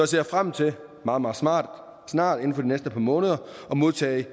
ser frem til meget meget snart snart inden for de næste par måneder at modtage